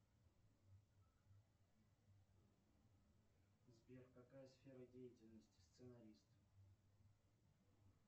сбер какая сфера деятельности сценарист